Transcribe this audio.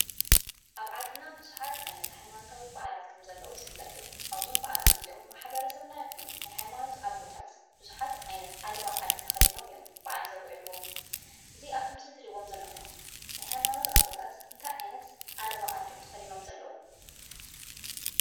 ኣብ ዓድና ብዙሓት ዓይነት ሃይማኖታዊ በዓላት ከም ዘለዉ ዝፍለጥ እዩ። ኣብዞም በዓላት እዚኦም ማሕበረሰበና ይኹን ናይ ሃይማኖት ኣቦታት ብዙሓት ዓይነት ዓለባ ዓዲ ተኸዲኖም እዮም ብዓላት ዘብዕልዎ። እዚ ኣብቲ ምስሊ እትርእይዎም ዘለኹም ናይ ሃይማኖት ኣቦታት እንታይ ዓይነት ዓለባ ዓዲ እዮም ተኸዲኖም ዘለዉ?